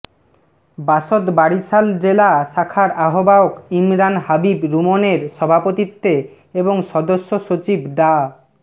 বাসদ বরিশাল জেলা শাখার আহবায়ক ইমরান হাবিব রুমনের সভাপতিত্বে এবং সদস্য সচিব ডা